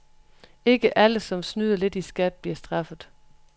Ikke alle, som snyder lidt i skat, bliver straffet.